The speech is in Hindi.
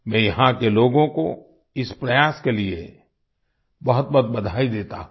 मैं यहाँ के लोगों को इस प्रयास के लिए बहुतबहुत बधाई देता हूँ